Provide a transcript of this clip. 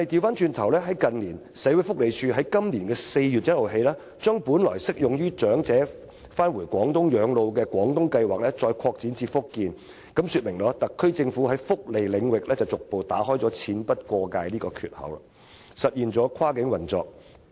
不過，社會福利署在今年4月1日起，將本來適用於長者返回廣東省養老的"廣東計劃"再擴展至福建，這說明特區政府在福利領域逐步打開"錢不過界"的缺口，實現跨境運作。